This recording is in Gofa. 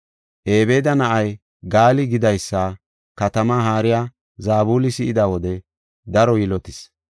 Ebeeda na7ay Gaali gidaysa katamaa haariya Zabuli si7ida wode daro yilotis.